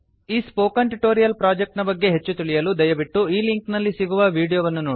ಈ spoken tutorial project ನ ಬಗ್ಗೆ ಹೆಚ್ಚು ತಿಳಿಯಲು ದಯವಿಟ್ಟು ಈ ಲಿಂಕ್ ನಲ್ಲಿ ಸಿಗುವ ವೀಡಿಯೋ ವನ್ನು ನೋಡಿ